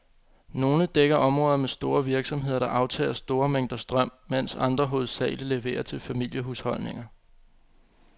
Nogle dækker områder med store virksomheder, der aftager store mængder strøm, mens andre hovedsageligt leverer til familiehusholdninger.